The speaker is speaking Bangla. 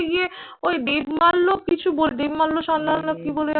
ওই দেবমাল্য দেবমাল্য সান্যাল না কি বলে